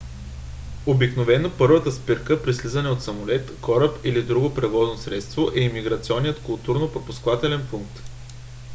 обикновено първата спирка при слизане от самолет кораб или друго превозно средство е имиграционният контролно - пропускателен пункт